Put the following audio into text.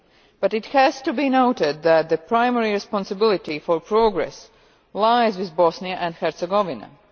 but it has to be noted that the primary responsibility for progress lies with Bosnia and Herzegovina.